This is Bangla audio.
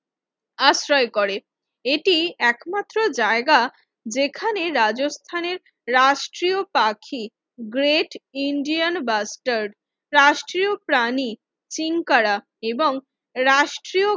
আশ্রয় করে এটি একমাত্র জায়গা যেখানে রাজস্থানের রাষ্ট্রীয় পাখি গ্রেট ইন্ডিয়ান বাস্টার্ড রাষ্ট্রীয় প্রাণী শৃঙ্খারা এবং রাষ্ট্রীয়